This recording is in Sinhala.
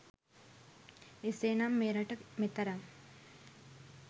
එසේ නම් මෙරට මෙතරම්